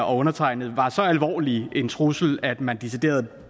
og undertegnede var så alvorlig en trussel at man decideret